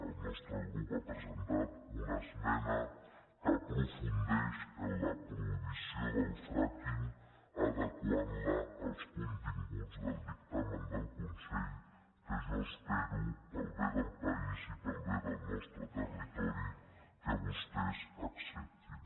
el nostre grup ha presentat una esmena que aprofundeix en la prohibició del frackingtamen del consell que jo espero per al bé del país i per al bé del nostre territori que vostès acceptin